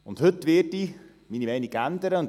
Heute werde ich meine Meinung ändern.